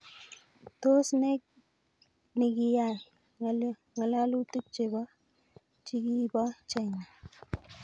Tos ne nikiyay ngalalutik cho chikibo China?